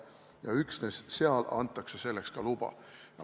Ja üksnes seal antakse selleks luba.